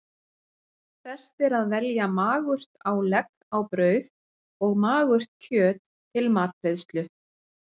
Best er að velja magurt álegg á brauð og magurt kjöt til matreiðslu.